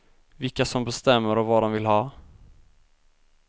Vilka som bestämmer och vad de vill ha.